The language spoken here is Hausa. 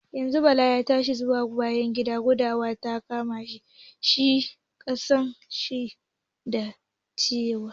Yanzun Bala ya tashi zuwa bayan gida, gudawa ta kama shi, kasan shi da cire-ciye.